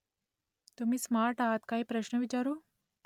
तुम्ही स्मार्ट आहात काही प्रश्न विचारू ?